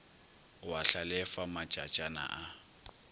o a hlalefa matšatšana a